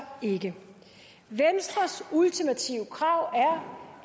ikke venstres ultimative krav